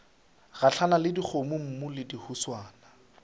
gahlana le dikgomommuu le dihuswane